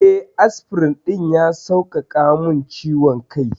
Eh, asfirin ɗin ya sauƙaƙa min ciwon kai.